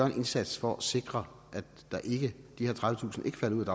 en indsats for at sikre at de her tredivetusind ikke falder ud